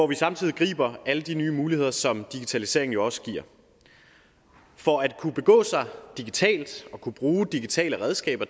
vi samtidig griber alle de nye muligheder som digitaliseringen jo også giver for at kunne begå sig digitalt og kunne bruge digitale redskaber